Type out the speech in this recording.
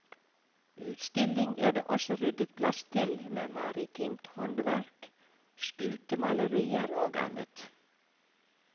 Utstilling er det også ryddet plass til, med maritimt håndverk, skutemalerier og annet.